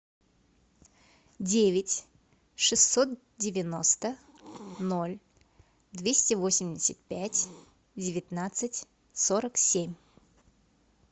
девять шестьсот девяносто ноль двести восемьдесят пять девятнадцать сорок семь